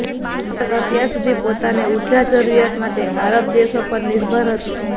ભારત અત્યાર સુધી પોતાની ઉર્જા જરૂરિયાતો માટે આરબ દેશો પર નિર્ભર હતું